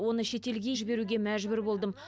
оны шетелге емделуге жіберуге мәжбүр болдым